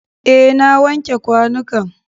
Eh, na wanke kwanukan.